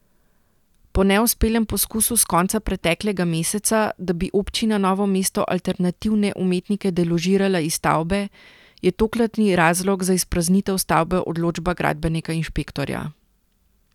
Po neuspelem poskusu s konca preteklega meseca, da bi občina Novo mesto alternativne umetnike deložirala iz stavbe, je tokratni razlog za izpraznitev stavbe odločba gradbenega inšpektorja.